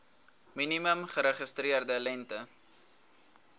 minimum geregistreerde lengte